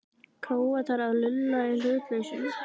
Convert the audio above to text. Króatar að lulla í hlutlausum?